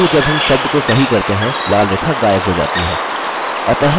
किन्तु जब हम शब्द को सही करते हैं लाल रेखा गायब हो जाती है